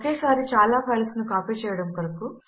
ఒకేసారి చాలా ఫైల్స్ ను కాపీ చేయడము కొరకు